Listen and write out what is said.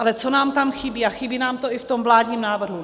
Ale co nám tam chybí a chybí nám to i v tom vládním návrhu?